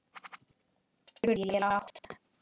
spurði ég lágt.